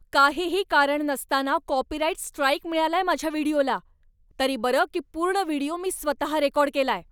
काहीही कारण नसताना कॉपीराइट स्ट्राइक मिळालाय माझ्या व्हिडिओला. तरी बरं की पूर्ण व्हिडिओ मी स्वतः रेकॉर्ड केलाय.